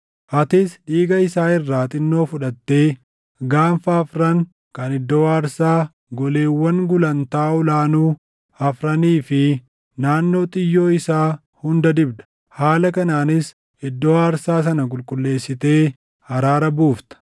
Atis dhiiga isaa irraa xinnoo fudhattee gaanfa afran kan iddoo aarsaa, goleewwan gulantaa ol aanuu afranii fi naannoo xiyyoo isaa hunda dibda; haala kanaanis iddoo aarsaa sana qulqulleessitee araara buufta.